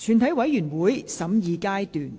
全體委員會審議階段。